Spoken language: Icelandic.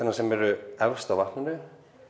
sem eru efst á vatninu